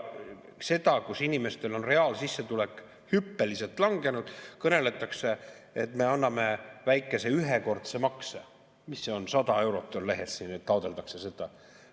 Ja kui inimestel on reaalsissetulek hüppeliselt langenud, kõneletakse, et me anname väikese ühekordse makse, mis on 100 eurot – nii on lehes, et taotletakse seda.